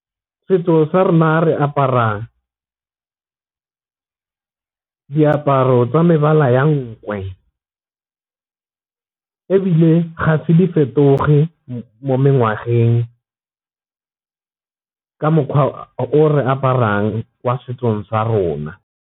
Setso sa rona re aparang diaparo tsa mebala ya nkwe, ebile ga se di fetoge mo ka mokgwa o re aparang kwa setsong sa rona.